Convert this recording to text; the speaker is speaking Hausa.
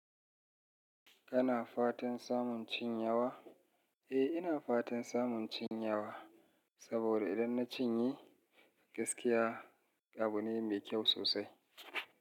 Kana fatan samun cin yawa? Eh, ina fatan samun cin yawa, saboda idan na cinye gaskiya abu ne mai kyau sosai.